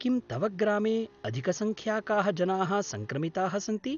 किं तव ग्रामे अधिकसङ्ख्याकाः जनाः सङ्क्रमिताः सन्ति?